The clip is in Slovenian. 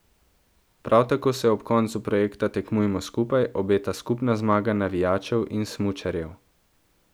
Prav tako se ob koncu projekta Tekmujmo skupaj obeta skupna zmaga navijačev in smučarjev.